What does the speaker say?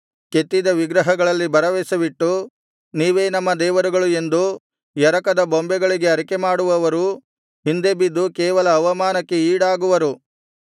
ಕೆತ್ತಿದ ವಿಗ್ರಹಗಳಲ್ಲಿ ಭರವಸವಿಟ್ಟು ನೀವೇ ನಮ್ಮ ದೇವರುಗಳು ಎಂದು ಎರಕದ ಬೊಂಬೆಗಳಿಗೆ ಅರಿಕೆಮಾಡುವವರು ಹಿಂದೆ ಬಿದ್ದು ಕೇವಲ ಅವಮಾನಕ್ಕೆ ಈಡಾಗುವರು